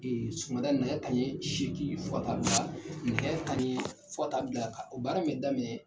Ee sɔgɔmada in nɛgɛ kanɲɛ seegin fo ka taa bila nɛgɛ kanɲɛ, fo ka taa bila o baara min bɛ daminɛ